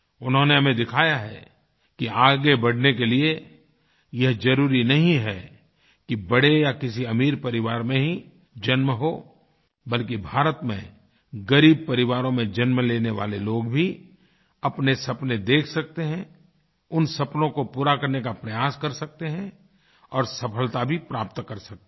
उन्होंने हमें दिखाया है कि आगे बढ़ने के लिए यह ज़रुरी नहीं है कि बड़े या किसी अमीर परिवार में ही जन्म हो बल्कि भारत में ग़रीब परिवारों में जन्म लेने वाले लोग भी अपने सपने देख सकते हैं उन सपनों को पूरा करने का प्रयास कर सकते हैं और सफलता भी प्राप्त कर सकते हैं